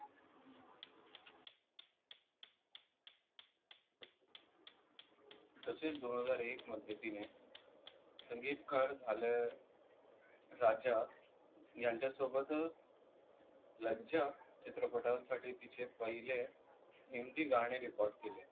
तसेच दोन हजार एक मध्ये तिने संगीतकार झाले राजा यांच्या सोबत लज्जा चित्रपटासाठी तिचे पहिले हिंदी गाणे रेकॉर्ड केले.